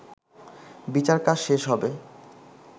বিচারকাজ শেষ হবে